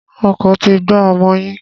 Ọkọ̀ ti gbá ọmọ yín.